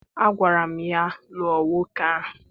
Agwara m ya, lụọ nwoke ahụ!